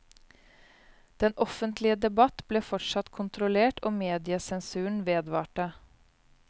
Den offentlige debatt ble fortsatt kontrollert og mediesensuren vedvarte.